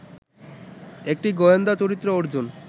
একটি গোয়েন্দা চরিত্র অর্জুন